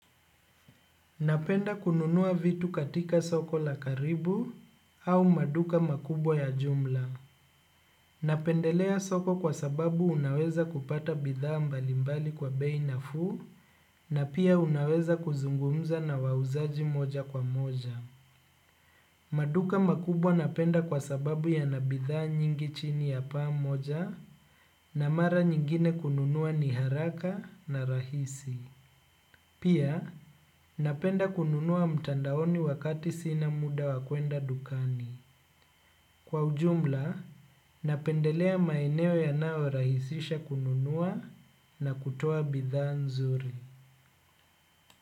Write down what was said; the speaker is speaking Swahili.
Napenda kununua vitu katika soko la karibu au maduka makubwa ya jumla. Napendelea soko kwa sababu unaweza kupata bidhaa mbalimbali kwa bei nafuu na pia unaweza kuzungumza na wauzaji moja kwa moja. Maduka makubwa napenda kwa sababu ya nabidhaa nyingi chini ya paa moja na mara nyingine kununua ni haraka na rahisi. Pia, napenda kununua mtandaoni wakati sina muda wa kuenda dukani. Kwa ujumla, napendelea maeneo yanayo rahisisha kununua na kutoa bidhaa nzuri.